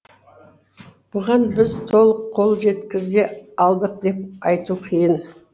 бұған біз толық қол жеткізе алдық деп айту қиын